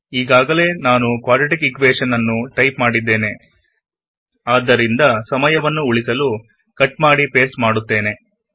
ಈಗಾಗಲೆ ನಾನು quadratic equation ನ್ನು ಟೈಪ್ ಮಾಡಿದ್ದೇನೆ ಆದ್ದರಿಂದ ಕಟ್ ಮಾಡಿ ಪೇಸ್ಟ್ ಮಾಡುತ್ತೇನೆ